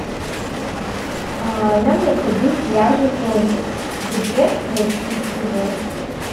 а нам необходим пляжный зонтик где найти его